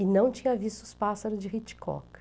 E não tinha visto os pássaros de Hitchcock.